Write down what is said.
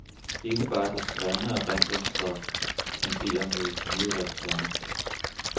Ikke bare det skrevne erindringsstof tenderer mod et givet repertoire.